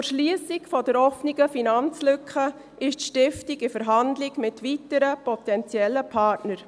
Zur Schliessung der offenen Finanzlücke ist die Stiftung in Verhandlung mit weiteren potenziellen Partnern.